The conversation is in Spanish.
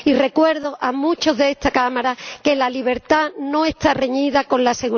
Y recuerdo a muchos de esta Cámara que la libertad no está reñida con la